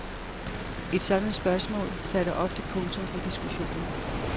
Et sådant spørgsmål satte ofte punktum for diskussionen.